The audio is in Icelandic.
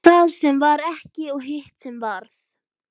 Það sem varð ekki og hitt sem varð